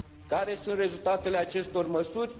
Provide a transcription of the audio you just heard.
Care sunt rezultatele acestor măsuri?